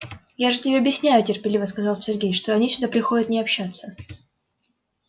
я же тебе объясняю терпеливо сказал сергей что они сюда приходят не общаться